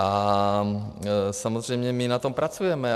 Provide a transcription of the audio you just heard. A samozřejmě my na tom pracujeme.